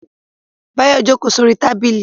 Báyọ̀ jókòó sórí tábìlì